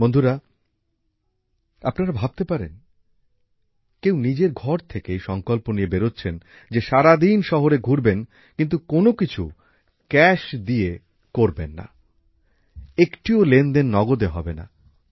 বন্ধুরা আপনারা ভাবতে পারেন কেউ নিজের ঘর থেকে এই সংকল্প নিয়ে বেরচ্ছেন যে সারাদিন শহরে ঘুরবেন কিন্তু কোনো কিছু নগদ টাকা দিয়ে করবেন না একটিও লেনদেন নগদে হবেনা